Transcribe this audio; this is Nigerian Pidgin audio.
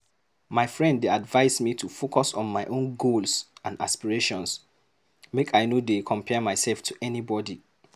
My friend dey advise me to focus on my own goals and aspirations. Make I no dey compare myself to anybody.